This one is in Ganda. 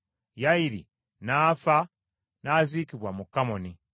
Yayiri n’afa n’aziikibwa mu Kamoni.